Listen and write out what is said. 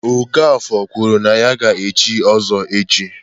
Okafor kwuru na ya ga-echi Ozo echi.